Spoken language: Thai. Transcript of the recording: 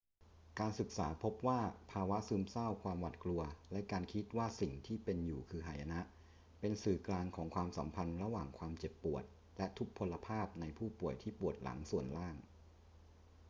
การศึกษาพบว่าภาวะซึมเศร้า ความหวาดกลัว และการคิดว่าสิ่งที่เป็นอยู่คือหายนะ เป็นสื่อกลางของความสัมพันธ์ระหว่างความเจ็บปวดและทุพพลภาพในผู้ป่วยที่ปวดหลังส่วนล่าง